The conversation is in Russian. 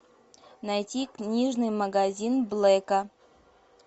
найти книжный магазин блэка